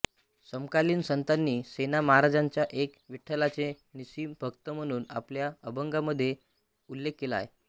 समकालीन संतांनी सेना महाराजांचा एक विठ्ठलाचे निःसीम भक्त म्हणून आपल्या अभंगांमधून उल्लेख केला आहे